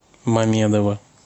мамедова